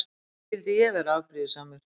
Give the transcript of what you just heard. Því skyldi ég vera afbrýðisamur?